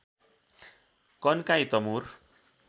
Kankai Tamor